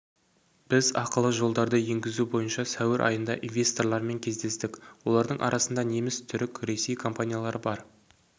біз ақылы жолдарды енгізу бойынша сәуір айында инвесторлармен кездестік олардың арасында неміс түрік ресей компаниялары бар